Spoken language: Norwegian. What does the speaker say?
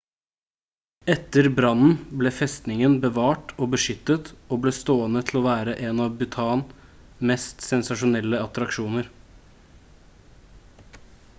etter brannen ble festningen bevart og beskyttet og ble stående til å være en av bhutan mest sensasjonelle attraksjoner